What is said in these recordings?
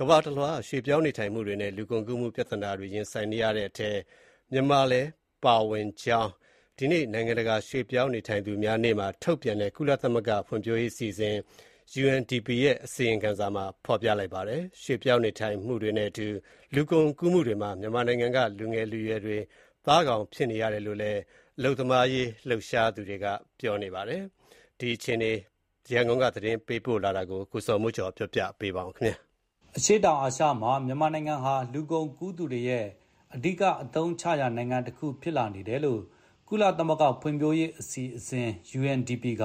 ကမ္ဘာတလွှား ရွှေ့ပြောင်းနေထိုင်မှုတွေနဲ့ လူကုန်ကူးမှု ပြဿနာတွေ ရင်ဆိုင်နေရတဲ့ အထဲမှာ မြန်မာနိုင်ငံလည်း အပါအဝင် ဖြစ်ကြောင်း ဒီကနေ့ နိုင်ငံတကာရွှေ့ပြောင်းနေထိုင်သူများနေ့မှာ ထုတ်ပြန်တဲ့ ကုလသမဂ္ဂ ဖွံ့ဖြိုးရေးအစီအစဉ် UNDP ရဲ့ အစီရင်ခံစာမှာ ဖော်ပြလိုက်ပါတယ်။ ရွှေ့ပြောင်းနေထိုင်မှုတွေနဲ့အတူ လူကုန်ကူးမှုတွေမှာ မြန်မာနိုင်ငံက လူငယ်လူရွယ်တွေ သားကောင်ဖြစ်နေကြရတယ်လို့လည်း အလုပ်သမားရေး လှုပ်ရှားသူတွေက ပြောပါတယ်။ မြန်မာနိုင်ငံက ရွှေ့ပြောင်းနေထိုင်သူတွေ အခြေအနေနဲ့ ပတ်သက်လို့ ရန်ကုန်က သတင်းပေးပို့ ထားတာကို အခြေခံပြီး ကိုဇော်မိုးကျော် တင်ပြထားပါတယ်။ အရှေ့တောင်အာရှမှာ မြန်မာနိုင်ငံဟာ လူကုန်ကူးသူတွေရဲ့ အဓိကအသုံးချရာ နိုင်ငံတခုဖြစ်လာတယ်လို့ ကုလသမဂ္ဂ ဖွံ့ဖြိုးရေးအစီအစဉ် UNDP က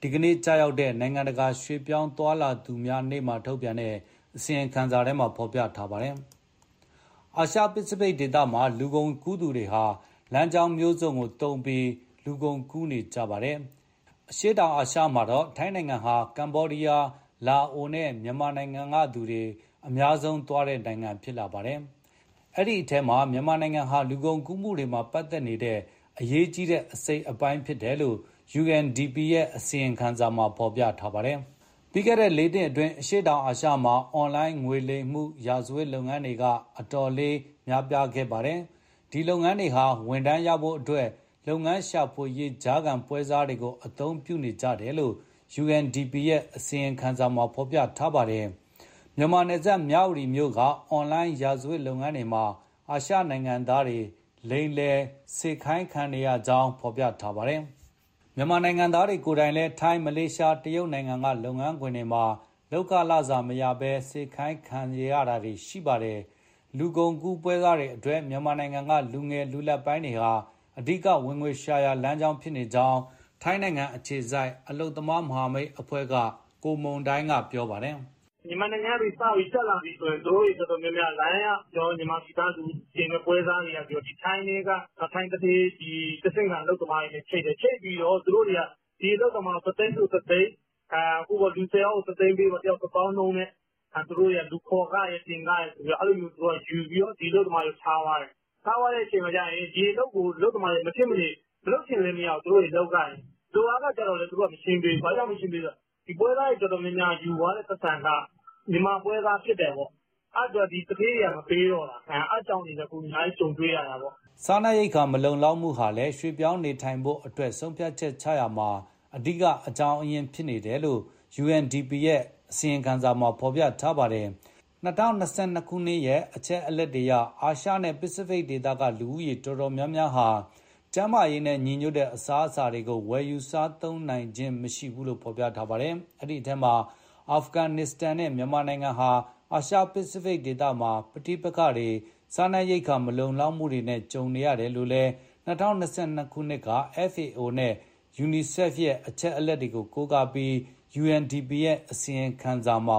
ဒီနေ့ကျရောက်တဲ့ နိုင်ငံတကာ ရွှေ့ပြောင်းသွားလာသူများနေ့မှာ အစီရင်ခံစာထဲမှာ ရေးသားထားတာပါ။ အာရှ-ပစိဖိတ်ဒေသမှာ လူကုန်ကူးသူတွေဟာ လမ်းကြောင်းမျိုးစုံကိုသုံးပြီး လူကုန်ကူးနေကြပါတယ်။ အရှေ့တောင်အာရှမှာတော့ ထိုင်းနိုင်ငံဟာ ကမ္ဘောဒီယား၊ လာအိုနဲ့ မြန်မာနိုင်ငံကသူတွေ အများဆုံးသွားတဲ့နိုင်ငံ ဖြစ်လာပါတယ်။ အဲဒီအထဲမှာ မြန်မာနိုင်ငံဟာ လူကုန်ကူးမှုတွေမှာ ပတ်သက်နေတဲ့ အရေးကြီးတဲ့ အစိတ်အပိုင်း ဖြစ်နေတယ်လို့ UNDP ရဲ့ အစီရင်ခံစာမှာ ရေးသားထားပါတယ်။ ပြီးခဲ့တဲ့ လေးနှစ်အတွင်း အရှေ့တောင်အာရှမှာ အွန်လိုင်းငွေလိမ် ရာဇဝတ်လုပ်ငန်းတွေက အတော်လေး ခေတ်စားလာပါတယ်။ ဒီလုပ်ငန်းတွေဟာ ဝန်ထမ်းရဖို့အတွက် အလုပ်ရှာဖွေရေး ကြားခံပွဲစားတွေကို အသုံးပြုနေကြတယ်လို့ UNDP ရဲ့ အစီရင်ခံစာမှာ ဖော်ပြထားပါတယ်။ မြန်မာနယ်စပ် မြဝတီမြို့က အွန်လိုင်းရာဇဝတ်လုပ်ငန်းတွေမှာ အာရှနိုင်ငံသားတွေ လိမ်ညာစေခိုင်းခံနေရကြောင်း ဖော်ပြထားပါတယ်။ မြန်မာနိုင်ငံသားတွေ ကိုယ်တိုင်လည်း ထိုင်း၊ မလေးရှား၊ တရုတ်နိုင်ငံက လုပ်ငန်းခွင်တွေမှာ လုပ်ခလစာမရဘဲ စေခိုင်းခံနေရတာပါ။ လူကုန်ကူးပွဲစားတွေအတွက် မြန်မာနိုင်ငံက လူငယ်၊ လူလတ်ပိုင်းတွေဟာ အဓိကဝင်ငွေရှာရာ လမ်းကြောင်းဖြစ်နေကြောင်း ထိုင်းအခြေစိုက် အလုပ်သမား မဟာမိတ်အဖွဲ့က ကိုမုန်တိုင်းက ပြောပါတယ်။ "မြန်မာနိုင်ငံက စပြီးတက်လာပြီဆိုရင် သူတို့တော်တော်များများ အွန် က မြန်မာနိုင်ငံသား လူတင်ပွဲစားတွေက ထိုင်းသူဌေး တဆင့်ခံအလုပ်သမားတွေနဲ့ ချိတ်တယ်၊ ချိတ်ပြီး ဒီအလုပ်သမားကို တသိန်းဆိုတသိန်း၊ လူဆယ်ယောက် ၁သိန်းပေး၊ လူတယောက် တသောင်းနှုန်းနဲ့ လူခေါ်ခရယ်၊ တင်ခရယ်ဆိုပြီး အဲလိုယူပြီး ဒီအလုပ်သမားတွေကို ထားသွားတယ်။ ထားသွားတော့ ဒီအလုပ်ကို အလုပ်သမားတွေက မလုပ်ချင်ဘဲ လုပ်ရတယ်။ လုပ်အားခကြလည်း သူတို့(ထိုင်းအလုပ်ရှင် က မရှင်းပေးဘူး၊ ဘာလို့လဲဆို ပွဲစားတွေယူသွားတဲ့ ပိုက်ဆံက မြန်မာပွဲစား ဖြစ်တယ်ပေါ့၊ အဲဒါကြောင့် သူဌေးတွေက မပေးတော့တာ။ အဲဒါတွေ အများကြီး ကြုံတွေ့နေရတယ်။" အစားအစာ မလုံလောက်မှုကလည်း ရွှေ့ပြောင်းနေထိုင်ဖို့အတွက် ဆုံးဖြတ်ချက်ချတာမှာ အဓိက အကြောင်းရင်း ဖြစ်နေတယ်လို့ UNDP ရဲ့စာမှာ ဖော်ပြထားပါတယ်။ ၂၀၂၂ရဲ့ အချက်အလက်အရ အာရှနဲ့ ပစိဖိတ်ဒေသက လူဦးရေအတော်များများဟာ ကျန်းမာရေးနဲ့ညီညွတ်တဲ့ အစားအသောက်တွေကို ဝယ်မစားနိုင်ကြကြောင်း ပြောပါတယ်။ အဲဒီထဲမှာ အာဖဂန်နစ္စတန်နဲ့ မြန်မာနိုင်ငံဟာ အာရှပစိဖိတ်မှာ ပဋိပက္ခတွေ၊ စားနပ်ရိက္ခာ မလုံလောက်မှုတွေနဲ့ ကြုံနေရတယ်လို့ ၂၀၂၂ က FAOနဲ့ UNICEF ရဲ့ အချက်အလက်တွေကို ကိုးကားပြီး UNDP ရဲ့ ဒီနေ့ထုတ်ပြန်တဲ့ အစီရင်ခံစာမှ